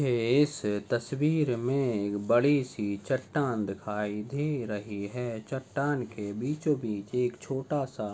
झे इस तस्वीर में एक बड़ीसी चट्टान दिखाई दे रही हैं चट्टान के बीचो-बीच एक छोटासा--